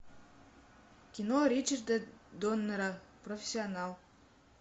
кино ричарда доннера профессионал